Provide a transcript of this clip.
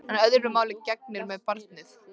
En öðru máli gegnir með barnið.